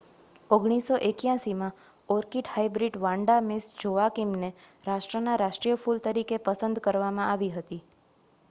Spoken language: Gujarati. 1981માં ઓર્કિડ હાઈબ્રિડ વાન્ડા મિસ જોઆકિમને રાષ્ટ્રનાં રાષ્ટ્રીય ફૂલ તરીકે પસંદ કરવામાં આવી હતી